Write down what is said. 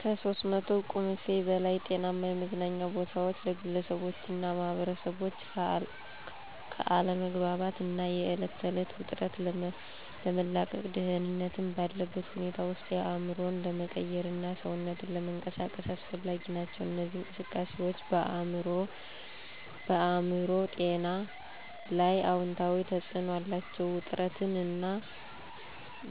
(ከ300 ቁምፊ በላይ) ጤናማ የመዝናኛ ቦታዎች ለግለሰቦችና ማኅበረሰቦች ከአለመግባባት እና የዕለት ተዕለት ውጥረት ለመላቀቅ፣ ደህንነት ባለበት ሁኔታ ውስጥ አእምሮን ለመቀየርና ሰውነትን ለመንቀሳቀስ አስፈላጊ ናቸው። እነዚህ እንቅስቃሴዎች በአእምሮ ጤና ላይ አዎንታዊ ተጽዕኖ አላቸው፤ ውጥረትን እና